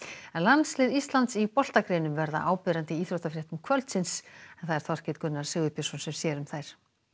landslið Íslands í verða áberandi í íþróttafréttum kvöldsins en það er Þorkell Gunnar Sigurbjörnsson sem sér um þær